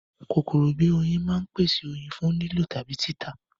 Kòkòrò bíi oyin máa ń pèsè oyin fún lílò tàbí títà